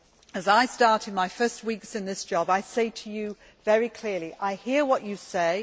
As I start my first weeks in this job, I say to you very clearly I hear what you say.